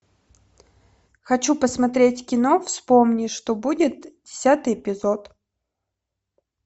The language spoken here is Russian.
хочу посмотреть кино вспомни что будет десятый эпизод